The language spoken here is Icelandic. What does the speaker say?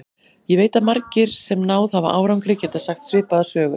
Ég veit að margir, sem náð hafa árangri, geta sagt svipaða sögu.